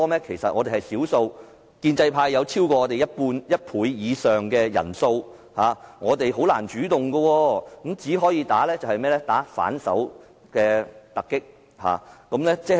其實我們仍是少數，建制派有超過我們一倍以上人數，我們難以採取主動，只能穩守突擊。